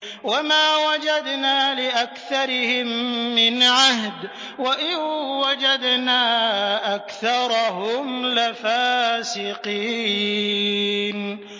وَمَا وَجَدْنَا لِأَكْثَرِهِم مِّنْ عَهْدٍ ۖ وَإِن وَجَدْنَا أَكْثَرَهُمْ لَفَاسِقِينَ